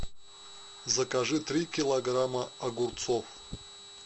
закажи три килограмма огурцов